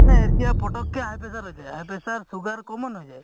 মানে এতিয়া পতকে high pressure হৈছে high pressure sugar common হৈ যায়